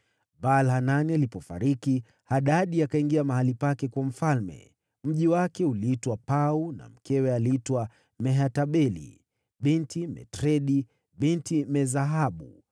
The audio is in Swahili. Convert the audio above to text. Baal-Hanani alipofariki, Hadadi akawa mfalme baada yake. Mji wake uliitwa Pau, na mkewe aliitwa Mehetabeli binti Matredi, binti Me-Zahabu.